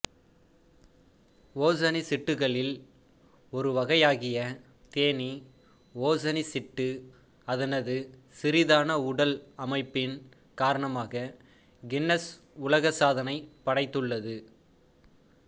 ஓசனிச்சிட்டுகளில் ஒரு வகையாகிய தேனி ஓசனிச்சிட்டு அதனது சிறிதான உடல் அமைப்பின் காரணமாக கின்னஸ் உலக சாதனை படைத்துள்ளது